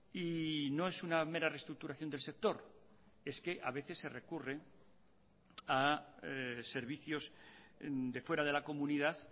y no es una mera reestructuración del sector es que a veces se recurre a servicios de fuera de la comunidad